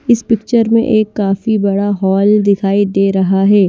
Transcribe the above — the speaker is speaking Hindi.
इस पिक्चर में एक काफी बड़ा हॉल दिखाई दे रहा है।